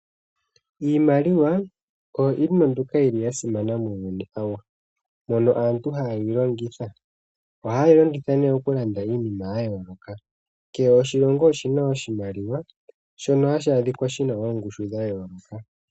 Iimaliwa oyo iinima mbyoka yili ya simana muuyuni awuhe. Mono aantu hayeyi longitha. Ohaye yi longitha ne oku landa iinima ya yooloka. Kehe oshilongo oshina oshimaliwa shono hashi adhika shina oongushu dha yooloka.